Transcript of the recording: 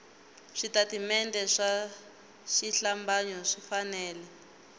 switatimende swa xihlambanyo swi fanele